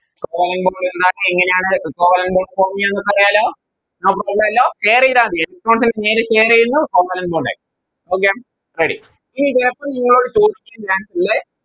Covalent bond എന്താണ് എങ്ങനെയാണ് Equivalent bond form ചെയ്യുന്നതെന്നറിയാലോ Share ചെയ്ത മതി Share ചെയ്യുന്നു Covalent bond ആയി Okay ready ഇനി ചെലപ്പോ നിങ്ങളോട് ചോദിക്കും രണ്ടില്